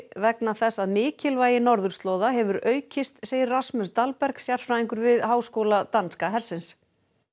vegna þess að mikilvægi norðurslóða hefur aukist segir Rasmus sérfræðingur við Háskóla danska hersins